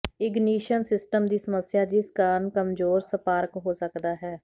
ignition system ਦੀ ਸਮੱਸਿਆ ਜਿਸ ਕਾਰਨ ਕਮਜ਼ੋਰ ਸਪਾਰਕ ਹੋ ਸਕਦਾ ਹੈ